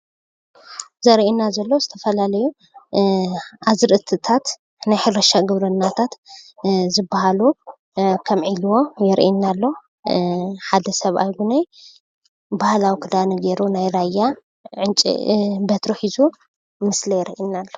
ዘርእየና ዘሎ ዝተፋላለዩ ኣዝርእትታት ናይ ሕርሻ ግብርናታት ዝብሃሉ ከም ዒልቦ የርእየና ኣሎ:: ሓደ ሰብኣይ እዉን ባህላዊ ክዳኑ ገየሩ ናይ ራያ በትሪ ሒዙ ምስሊ የርእየና ኣሎ::